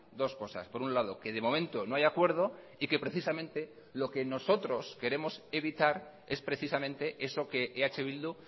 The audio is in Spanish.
dos cosas por un lado que de momento no hay acuerdo y que precisamente lo que nosotros queremos evitar es precisamente eso que eh bildu